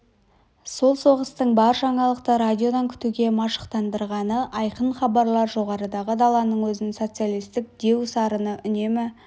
сол соғыстың бар жаңалықты радиодан күтуге машықтандырғаны айқын хабарлар жоғарыдағы даланың өзін социалистік деу сарыны үнемі